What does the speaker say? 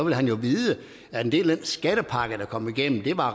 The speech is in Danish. vil han jo vide at en del af den skattepakke der kom igennem